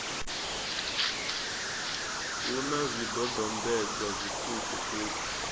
hu na zwidodombedzwa zwiṱuku ṱuku